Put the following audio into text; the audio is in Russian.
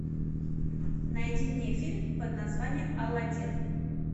найди мне фильм под названием аладдин